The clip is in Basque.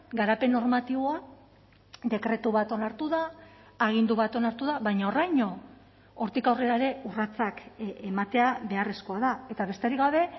garapen normatiboa dekretu bat onartu da agindu bat onartu da baina horraino hortik aurrera ere urratsak ematea beharrezkoa da eta besterik gabe